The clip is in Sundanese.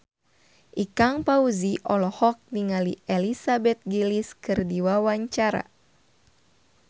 Ikang Fawzi olohok ningali Elizabeth Gillies keur diwawancara